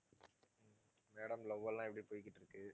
madam love எல்லாம் எப்படி போயிக்கிட்டிருக்கு?